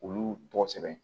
Olu tɔgɔ sɛbɛn